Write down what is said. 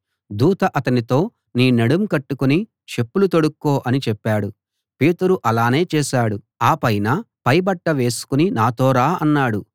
దూత అతనితో నీ నడుం కట్టుకుని చెప్పులు తోడుక్కో అని చెప్పాడు పేతురు అలానే చేశాడు ఆ పైన పై బట్ట వేసుకుని నాతో రా అన్నాడు